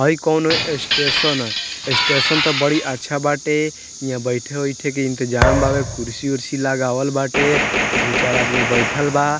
हई कउनो स्टेशन है स्टेशन तो बड़ी अच्छा बाटे हियां बैठे-उठे के इंतज़ाम बावे कुर्सी-उर्सी लगावल बाटे दू चार आदमी बईठल बा।